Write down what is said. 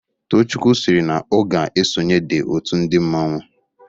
Tochukwụ siri na o ga -esonye the otụ ndi mmanwu.